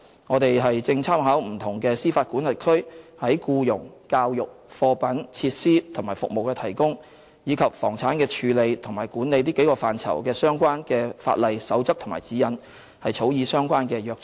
我們正參考不同司法管轄區在僱傭、教育、貨品、設施及服務的提供，以及房產的處理和管理這幾個範疇的相關法例、守則和指引，草擬相關的約章。